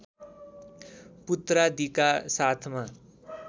पुत्रादिका साथमा